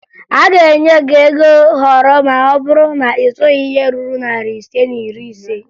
A ga-enye gị ego họrọ ma ọ bụrụ na ị zụghị ihe ruru narị ise na iri ise